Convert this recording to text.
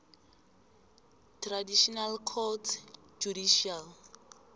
traditional courts judicial